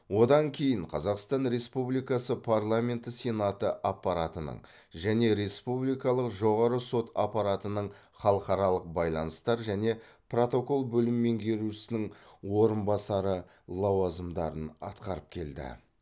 одан кейін қазақстан республикасы парламенті сенаты аппаратының және республикалық жоғары сот аппаратының халықаралық байланыстар және протокол бөлім меңгерушісінің орынбасары лауазымдарын атқарып келді